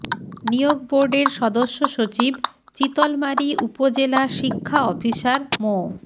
নিয়োগ বোর্ডের সদস্য সচিব চিতলমারী উপজেলা শিক্ষা অফিসার মো